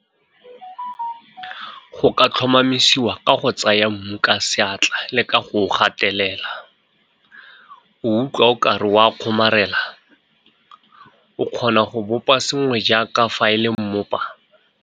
Go ka tlhomamiswa ka go tsaya mmu ka seatla le ka go o gatelela. O utlwa o ka re o a kgomarela? O kgona go bopa sengwe jaaka fa e le mmopa?